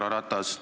Härra Ratas!